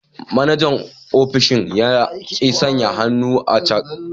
Manajan ofishin ya ki sanya hannu a cak.